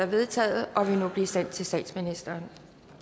vedtaget og vil nu blive sendt til statsministeren